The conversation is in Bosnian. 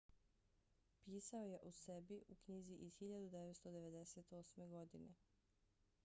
pisao je o sebi u knjizi iz 1998. godine